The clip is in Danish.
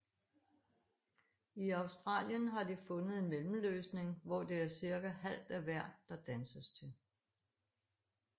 I Australien har de fundet en mellemløsning hvor det er cirka halvt af hver der danses til